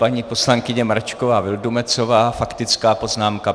Paní poslankyně Mračková Vildumetzová, faktická poznámka.